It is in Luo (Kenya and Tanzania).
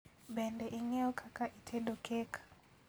Bende ing'eyo kaka itedo kek?